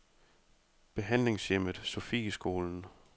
Behandlingshjemmet Sofieskolen